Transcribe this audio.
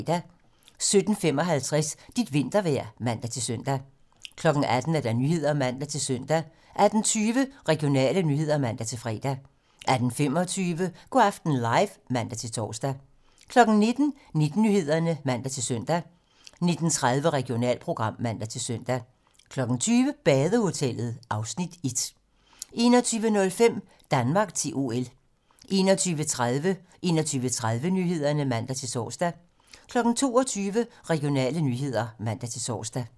17:55: Dit vintervejr (man-søn) 18:00: 18 Nyhederne (man-søn) 18:20: Regionale nyheder (man-fre) 18:25: Go' aften live (man-tor) 19:00: 19 Nyhederne (man-søn) 19:30: Regionalprogram (man-søn) 20:00: Badehotellet (Afs. 1) 21:05: Danmark til OL 21:30: 21:30 Nyhederne (man-tor) 22:00: Regionale nyheder (man-tor)